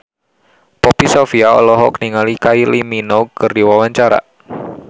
Poppy Sovia olohok ningali Kylie Minogue keur diwawancara